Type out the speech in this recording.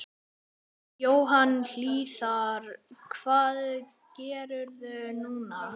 Jóhann Hlíðar: Hvað gerirðu núna?